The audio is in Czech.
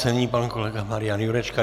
Nyní pan kolega Marian Jurečka.